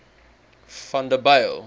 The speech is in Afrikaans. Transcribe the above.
vanderbijl